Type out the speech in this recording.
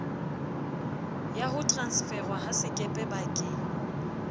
ya ho transferwa ha sekepebakeng